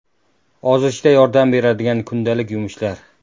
Ozishda yordam beradigan kundalik yumushlar.